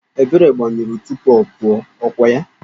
Ebere gbanyụrụ oriọna tupu ọ pụwa, ọ kwa ya?